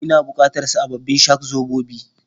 Ina bukatar sababbin shak-zobobi?